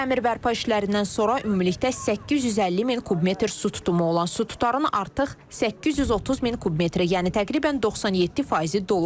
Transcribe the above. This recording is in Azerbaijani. Təmir bərpa işlərindən sonra ümumilikdə 850 min kub metr su tutumu olan su tutarın artıq 830 min kub metri, yəni təqribən 97 faizi dolub.